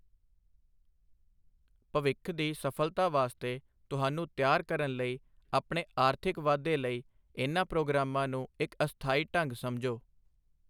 ਭਵਿੱਖ ਦੀ ਸਫਲਤਾ ਵਾਸਤੇ ਤੁਹਾਨੂੰ ਤਿਆਰ ਕਰਨ ਲਈ ਆਪਣੇ ਆਰਥਿਕ ਵਾਧੇ ਲਈ ਇਨ੍ਹਾਂ ਪ੍ਰੋਗਰਾਮਾਂ ਨੂੰ ਇੱਕ ਅਸਥਾਈ ਢੰਗ ਸਮਝੋ।